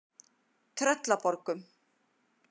Tröllaborgum